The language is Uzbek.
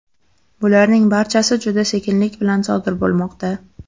Bularning barchasi juda sekinlik bilan sodir bo‘lmoqda.